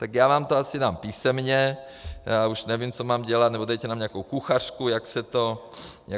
Tak já vám to asi dám písemně, já už nevím, co mám dělat, nebo dejte nám nějakou kuchařku, jak se to dělá.